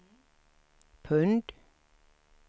pund